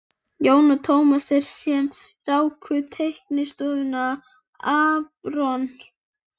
Jón og Tómas, þeir sem ráku teiknistofuna aRON